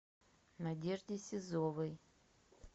надежде сизовой